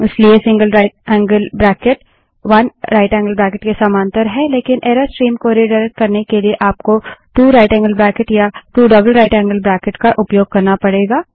इसलिए gtराइट angled bracket 1जीटी के समांतर है लेकिन एरर स्ट्रीम को रिडाइरेक्ट करने के लिए आपको 2gtया 2जीटीजीटी का उपयोग करना पड़ेगा